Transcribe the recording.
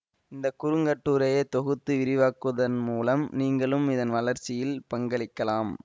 இந்த குறுங்கட்டுரையை தொகுத்து விரிவாக்குவதன் மூலம் நீங்களும் இதன் வளர்ச்சியில் பங்களிக்கலாம்